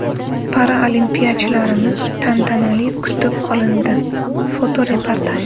Paralimpiyachilarimiz tantanali kutib olindi (fotoreportaj).